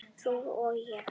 Þú og ég.